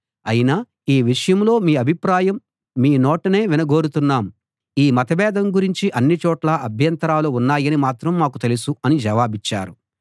అయినా ఈ విషయంలో మీ అభిప్రాయం మీ నోటనే వినగోరుతున్నాం ఈ మతభేదం గూర్చి అన్ని చోట్లా అభ్యంతరాలు ఉన్నాయని మాత్రం మాకు తెలుసు అని జవాబిచ్చారు